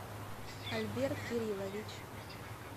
альберт кириллович